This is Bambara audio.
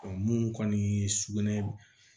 mun kɔni ye sugunɛ